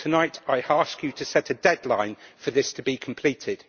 Tonight I ask you to set a deadline for this to be completed.